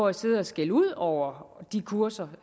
at sidde og skælde ud over de kurser